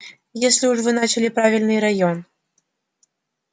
если уж вы начали правильный район